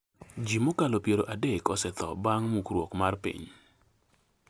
Ji mokalo piero adek osetho bang' mukruok mar piny